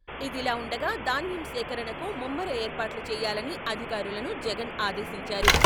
ఇదిలా ఉండగా ధాన్యం సేకరణకు ముమ్మర ఏర్పాట్లు చేయాలనీ అధికారులను జగన్ ఆదేశించారు.